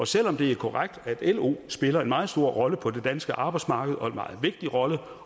selv om det er korrekt at lo spiller en meget stor rolle på det danske arbejdsmarked og en meget vigtig rolle og